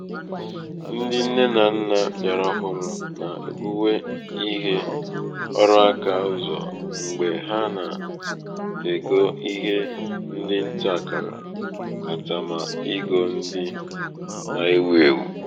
ndị nne na nnà bịara ọhụrū nà-èbuwe ihe ọrụaka ụzọ̀ mgbe ha nà-ègo ihe ndị ǹtaàkàrà katamà igō ndị na-ewū èwù.